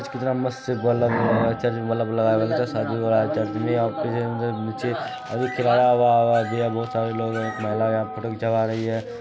एक महिला यहां फोटो घीचवा रही हैं।